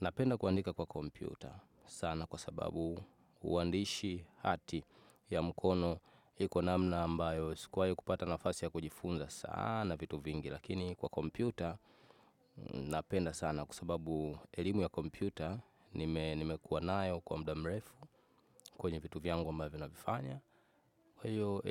Napenda kuandika kwa kompyuta sana kwa sababu uandishi hati ya mkono iko namna ambayo sikuwahi kupata nafasi ya kujifunza sana vitu vingi. Lakini kwa kompyuta napenda sana kwa sababu elimu ya kompyuta nimekuwa nayo kwa muda mrefu kwenye vitu vyangu ambavyo ninavifanya. Kwa hivyo